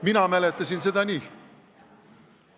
Mina mäletasin seda nii.